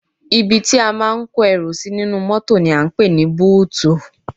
Ibi tí a máa ń kó ẹrù sí nínú mọ́tò ni à ń pè ní búùtù